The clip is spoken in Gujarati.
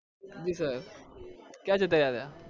જી sir ક્યાં જતા રહ્યા હતા?